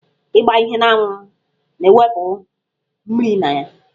Ịgba ihe n'anwụ na-ewụpụ mmiri na ya.